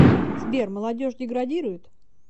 сбер молодежь деградирует